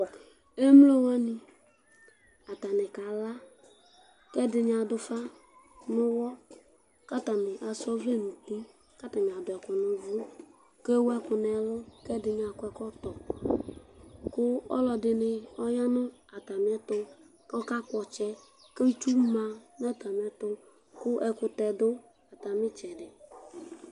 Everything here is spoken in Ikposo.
emlo wʋani ata ni ka la, ku ɛdini adu ufa nu uwɔ ku ata ni asa ɔvlɛ nu uti ku ata ni adu ɛku nu uvu ku ewu ɛku nu ɛlu, ku ɛdini akɔ ɛkɔtɔ, ku ɔlɔdi ni ɔya nu ata mi ɛtu ku ɔka kpɔ ɔtsɛ, ku itsu ma nu ata mi ɛtu, ku ɛkutɛ du ata mi itsɛdi